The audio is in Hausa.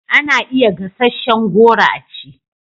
Ana iya gasasshen goro a ci